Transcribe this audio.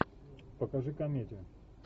покажи комедию